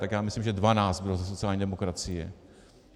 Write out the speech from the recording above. Tak já myslím, že 12 bylo ze sociální demokracie.